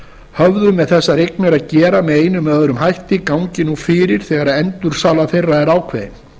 höfðu með þessar eignir að gera með einum eða öðrum hætti gangi nú fyrir þegar endursala þeirra er ákveðin